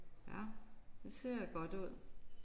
Ja det ser godt ud